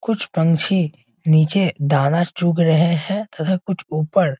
कुछ पंछी निचे दाना चुग रहें हैं तथा कुछ ऊपर --